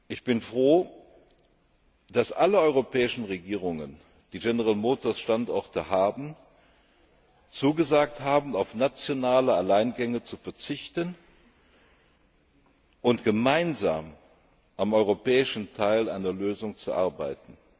Ich bin froh, dass alle europäischen Regierungen, die General Motors Standorte haben, zugesagt haben, auf nationale Alleingänge zu verzichten und gemeinsam am europäischen Teil einer Lösung zu arbeiten.